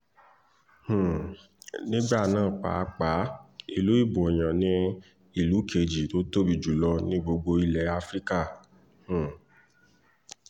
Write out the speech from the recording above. um nígbà náà pàápàá ìlú iboyàn ni ìlú kejì tó tóbi jù lọ ní gbogbo ilẹ̀ afrika um